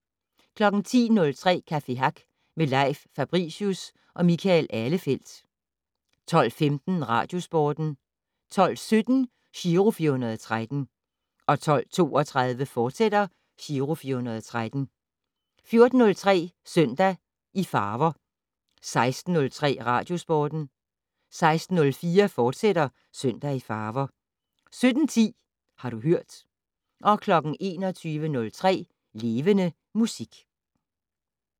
10:03: Café Hack med Leif Fabricius og Michael Ahlefeldt 12:15: Radiosporten 12:17: Giro 413 12:32: Giro 413, fortsat 14:03: Søndag i farver 16:03: Radiosporten 16:04: Søndag i farver, fortsat 17:10: Har du hørt 21:03: Levende Musik